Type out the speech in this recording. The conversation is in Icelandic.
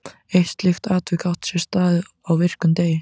Eitt slíkt atvik átti sér stað á virkum degi.